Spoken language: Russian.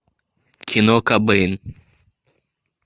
кино кобейн